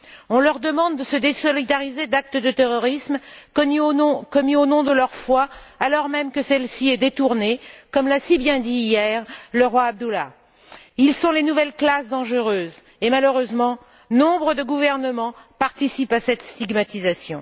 On leur demande de se désolidariser d'actes de terrorisme commis au nom de leur foi, alors même que celle ci est détournée, comme l'a si bien dit, hier, le roi Abdallah II. Ils sont les nouvelles classes dangereuses et, malheureusement, nombre de gouvernements participent à cette stigmatisation.